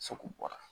bɔra